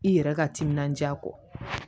I yɛrɛ ka timinandiya kɔ